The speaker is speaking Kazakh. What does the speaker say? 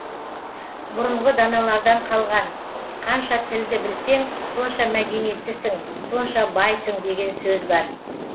бұрынғы даналардан қалған қанша тілді білсең сонша мәдениеттісің сонша байсың деген сөз бар